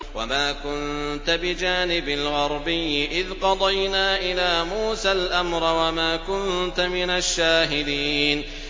وَمَا كُنتَ بِجَانِبِ الْغَرْبِيِّ إِذْ قَضَيْنَا إِلَىٰ مُوسَى الْأَمْرَ وَمَا كُنتَ مِنَ الشَّاهِدِينَ